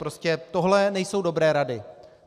Prostě tohle nejsou dobré rady.